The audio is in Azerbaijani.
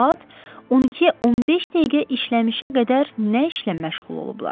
Saat 12:15 dəqiqə işləmişə qədər nə işlə məşğul olublar?